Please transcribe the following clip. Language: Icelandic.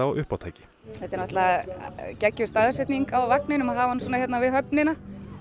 uppátæki þetta er náttúrulega geggjuð staðsetning á vagninum að hafa hann hérna við höfnina